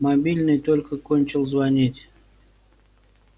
мобильный только кончил звонить